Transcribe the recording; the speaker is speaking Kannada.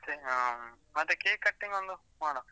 ಮತ್ತೇ ಹ್ಮ್, ಮತ್ತೇ cake cutting ಒಂದು ಮಾಡ್ವ?